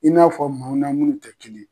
I n'a fɔ maaw na minnu tɛ kelen.